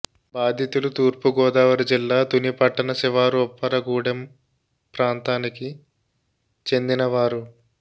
బాధితులు తూర్పు గోదావరి జిల్లా తుని పట్టణ శివారు ఉప్పరగూడెం ప్రాంతానికి చెందినవారు